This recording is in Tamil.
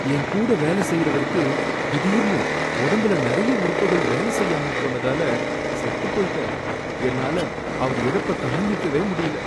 என் கூட வேலை செய்யறவருக்கு திடீர்ன்னு உடம்புல நறைய உறுப்புகள் வேல செய்யாம போனதால செத்துப் போயிட்டாரு, என்னால அவர் இழப்ப தாங்கிக்கவே முடியல.